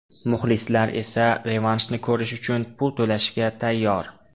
Muxlislar esa revanshni ko‘rish uchun pul to‘lashga tayyor.